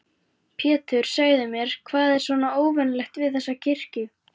Pétur, segðu mér, hvað er svona óvenjulegt við þessa kirkju?